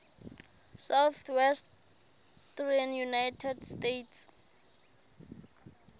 southwestern united states